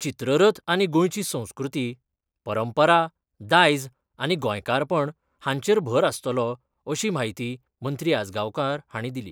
चित्ररथ आनी गोंयची संस्कृती, परंपरा दायज आनी गोंयकारपण हांचेर भर आस्तलो अशी माहिती मंत्री आजगांवकार हांणी दिली.